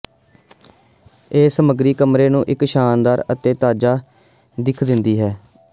ਇਹ ਸਮੱਗਰੀ ਕਮਰੇ ਨੂੰ ਇੱਕ ਸ਼ਾਨਦਾਰ ਅਤੇ ਤਾਜ਼ਾ ਦਿੱਖ ਦਿੰਦੀ ਹੈ